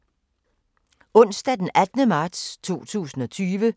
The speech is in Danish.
Onsdag d. 18. marts 2020